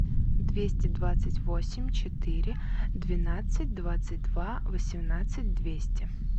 двести двадцать восемь четыре двенадцать двадцать два восемнадцать двести